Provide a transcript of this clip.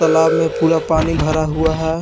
तालाब में पूरा पानी भरा हुआ है ।